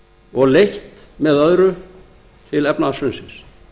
og leitt með öðru til efnahagshrunsins